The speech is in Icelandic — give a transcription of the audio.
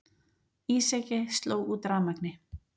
Ísjaki sló út rafmagni